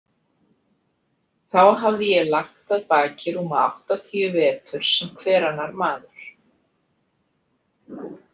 Þá hafði ég lagt að baki rúma áttatíu vetur sem hver annar maður.